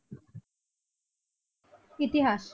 ইতিহাস?